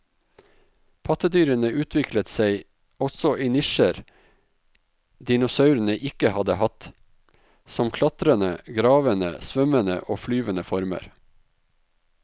Pattedyrene utviklet seg også i nisjer dinosaurene ikke hadde hatt, som klatrende, gravende, svømmende og flyvende former.